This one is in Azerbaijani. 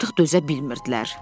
Artıq dözə bilmirdilər.